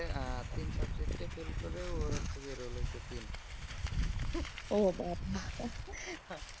হচ্ছে যে তিন subject fail করে ওর হচ্ছে যে role হচ্ছে তিন